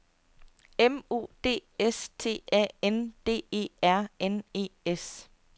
M O D S T A N D E R N E S